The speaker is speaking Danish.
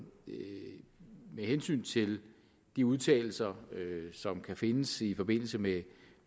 hensyn til de udtalelser som kan findes i forbindelse med